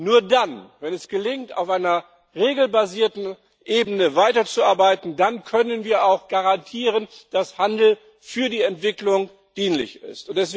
Nur dann, wenn es gelingt, auf einer regelbasierten Ebene weiterzuarbeiten, können wir auch garantieren, dass Handel für die Entwicklung dienlich ist.